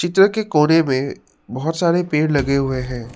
Picture के कोने में बहुत सारे पेड़ लगे हुए हैं।